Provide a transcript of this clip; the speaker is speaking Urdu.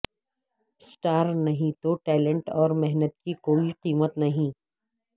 سٹار نہیں تو ٹیلنٹ اور محنت کی کوئی قیمت نہیں